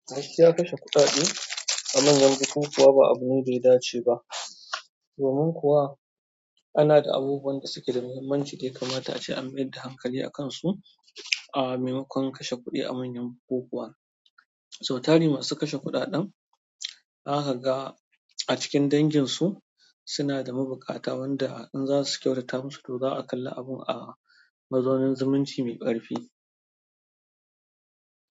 Gaskiya kashe kuɗaɗe a manyan bukukuwa ba abu ne ɗaya dace ba. Domin kuwa ana da abubuwan da suke da muhimmanci ɗaya kamata ce an mayar da hankali a kansu a maimakon kashe kuɗi a manyan bukukuwa. Sau tari masu kashe kuɗaɗen, zaka ga a cikin danginsu suna da mabuƙata wanda in za su kyautata musu, to za'a kalli abun a mazaunin zumunci mai ƙarfi.